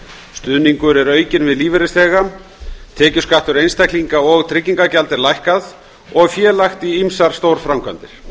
stuðningur er aukinn við lífeyrisþega tekjuskattur einstaklinga og tryggingagjald er lækkað og fé lagt í ýmsar stórframkvæmdir